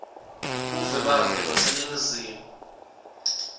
buve bakhe baseningizimu